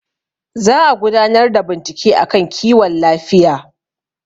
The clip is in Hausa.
za a gudanar da bincike a kan kiwon lafiya